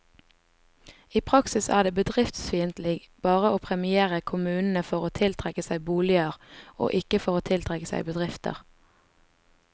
I praksis er det bedriftsfiendtlig bare å premiere kommunene for å tiltrekke seg boliger, og ikke for å tiltrekke seg bedrifter.